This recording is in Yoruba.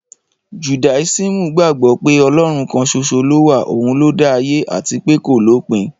Judáisímù gbagbo pẹ́ Ọlọ́run kan soso lówà, òun ló da ayé àtipẹ́ kòlópin.